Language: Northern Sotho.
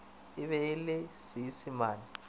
e be e le seisemane